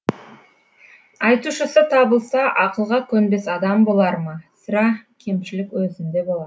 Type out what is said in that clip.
айтушысы табылса ақылға көнбес адам болар ма сірә кемшілік өзінде болар